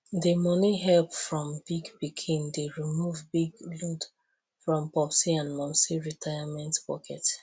the money help from big pikin dey remove big load from popsi and momsi retirement pocket